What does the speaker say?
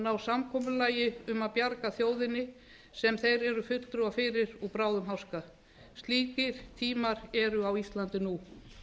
ná samkomulagi um að bjarga þjóðinni sem þeir eru fulltrúar fyrir úr bráðum háska slíkir tímar eru á íslandi nú við skulum